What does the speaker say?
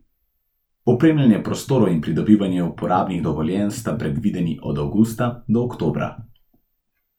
Opremljanje prostorov in pridobivanje uporabnih dovoljenj sta predvideni od avgusta do oktobra.